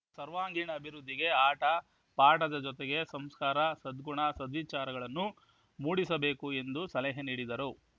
ಸರ್ವಾಂಗೀಣ ಅಭಿವೃದ್ಧಿಗೆ ಆಟ ಪಾಠದ ಜೊತೆಗೆ ಸಂಸ್ಕಾರ ಸದ್ಗುಣ ಸದ್ವಿಚಾರಗಳನ್ನೂ ಮೂಡಿಸಬೇಕು ಎಂದು ಸಲಹೆ ನೀಡಿದರು